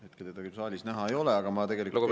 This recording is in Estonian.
Hetkel teda küll saalis näha ei ole, aga ma tegelikult …